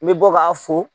I bɛ bɔ k'a fo